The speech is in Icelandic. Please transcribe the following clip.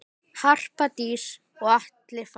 Harpa Dís og Atli Fannar.